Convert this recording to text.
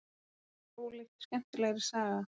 Það var ólíkt skemmtilegri saga.